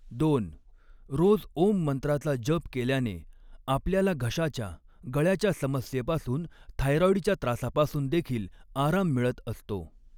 दोन रोज ऊँ मंत्राचा जप केल्याने आपल्याला घशाच्या गळ्याच्या समस्येपासून थायरॉईडच्या त्रासापासून देखील आराम मिळत असतो.